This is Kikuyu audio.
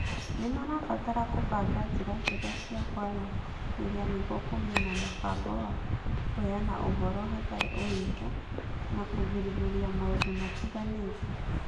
Nĩ marabatara kũbanga njĩra njega cia kwaranĩria nĩguo kũgĩe na mũbango wa kũheana ũhoro hatarĩ ũhinga, na kũgirĩrĩria maũndũ matiganĩte.